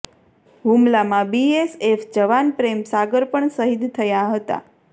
હુમલામાં બીએસએફ જવાન પ્રેમ સાગર પણ શહીદ થયા હતા